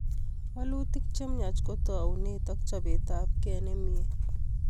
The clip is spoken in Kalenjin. Walutik chemiach ko toune ak chopetapkei nemie